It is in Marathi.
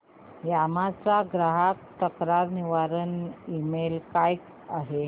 यामाहा चा ग्राहक तक्रार निवारण ईमेल काय आहे